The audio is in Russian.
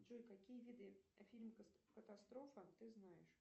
джой какие виды фильм катастрофа ты знаешь